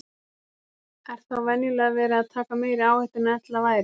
Er þá venjulega verið að taka meiri áhættu en ella væri.